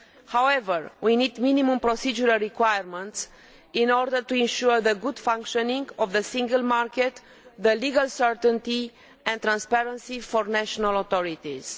However, we need minimum procedural requirements in order to ensure the proper functioning of the single market, as well as legal certainty and transparency for national authorities.